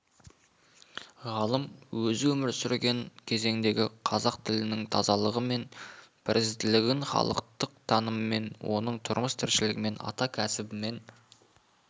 ғалым өзі өмір сүрген кезеңдегі қазақ тілінің тазалығы мен бірізділігін халықтық таныммен оның тұрмыс-тіршілігімен ата кәсібімен